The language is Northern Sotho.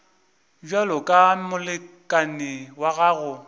bjalo ka molekane wa gago